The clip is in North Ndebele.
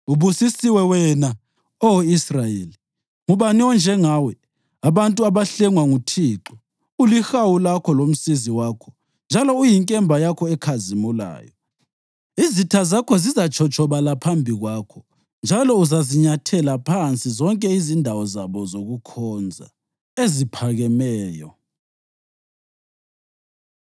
Ubusisiwe wena, Oh Israyeli! Ngubani onjengawe, abantu abahlengwa nguThixo? Ulihawu lakho lomsizi wakho njalo uyinkemba yakho ekhazimulayo. Izitha zakho zizatshotshobala phambi kwakho njalo uzazinyathela phansi zonke izindawo zabo zokukhonza eziphakemeyo.”